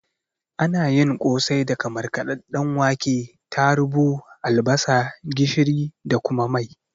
Ana yin kosai daga markaɗadɗen wake, tarubu, albasa, gishiri da kuma mai